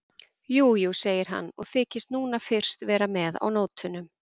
Jú, jú, segir hann og þykist núna fyrst vera með á nótunum.